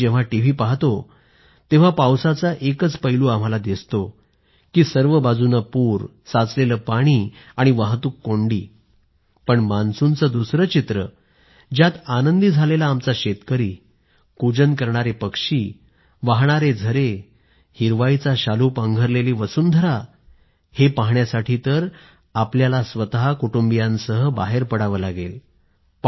आम्ही जेव्हा टीव्ही पाहतो तेव्हा पावसाचा एकच पैलू दिसतोसर्व बाजूनं पूर साचलेलं पाणी वाहतूक कोंडी मान्सूनचं दुसरं चित्रज्यात आनंदी झालेला आमचा शेतकरी कूजन करणारे पक्षी वाहणारे झरे हिरवाईचा शालू पांघरलेली धरतीहे पाहण्यासाठी तर आपल्याला स्वतः कुटुंबियांसह बाहेर पडावं लागेल